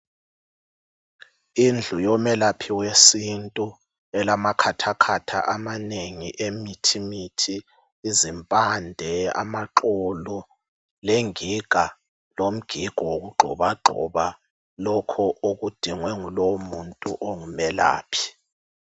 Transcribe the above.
Indlu yomelaphi wesintu elamakhathakhatha amanengi emithimithi, izimpande, amaxolo lengiga lomgigo yokugxobagxoba lokhu okudingwe ngolowo muntu ongumelaphi.